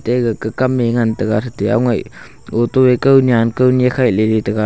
aga kam e ngan tai ga auto .]